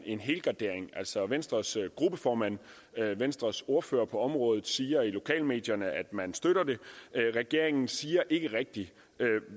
en helgardering altså venstres gruppeformand og venstres ordfører på området siger i lokalmedierne at man støtter det regeringen siger ikke rigtig